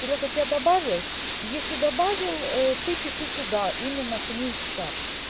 серёга тебя добавил если добавил ээ ты пиши туда именно к ним в чат